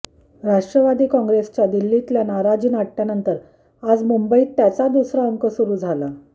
राष्ट्रवादी काँग्रेसच्या दिल्लीतल्या नाराजीनाट्यानंतर आज मुंबईत त्याचा दुसरा अकं सुरु झाला